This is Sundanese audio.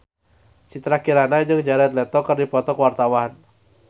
Citra Kirana jeung Jared Leto keur dipoto ku wartawan